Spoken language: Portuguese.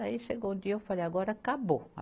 Daí chegou o dia, eu falei, agora acabou.